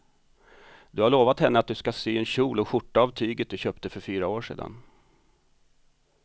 Du har lovat henne att du ska sy en kjol och skjorta av tyget du köpte för fyra år sedan.